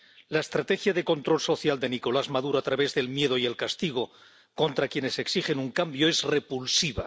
La estrategia de control social de Nicolás Maduro a través del miedo y el castigo contra quienes exigen un cambio es repulsiva.